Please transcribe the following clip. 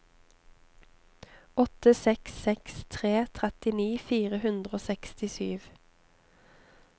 åtte seks seks tre trettini fire hundre og sekstisju